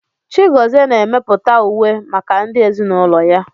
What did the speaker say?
Chigozie na-emepụta uwe maka ndị ezinaụlọ ya